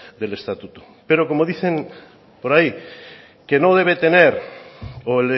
del estatuto pero como dicen por ahí que no debe tener o